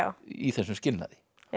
í þessum skilnaði